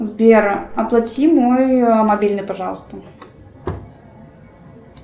сбера оплати мой мобильный пожалуйста